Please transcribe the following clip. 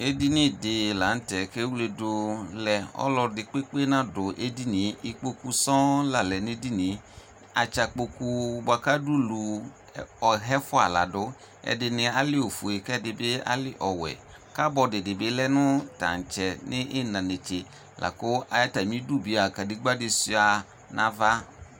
Edini di lanʋtɛ kʋ ewledʋ lɛ ɔlʋ ɛdi kpekpe nadʋ edinie ikpokʋ sɔŋ lalɛ nʋ edinie atsan kpokʋ bʋakʋ adʋ ʋlʋ ɔxa ɛfʋa ladʋ ɛdɩbi ali ofʋe kʋ ɛdibi ali ɔwɛ kabɔdi dibi lɛnʋ tantsɛ nʋ iina netse lakʋ atamidʋ bia kadegba di suia nʋ ava